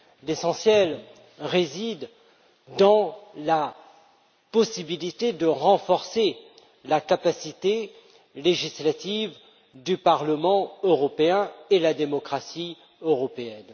L'essentiel réside dans la possibilité de renforcer la capacité législative du Parlement européen et la démocratie européenne.